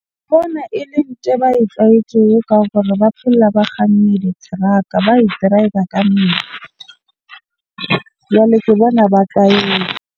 Ke bona ele nthwe ba e tlwaetseng ka gore ba phela diteraka ba e driver ka . Jwale ke bona ba .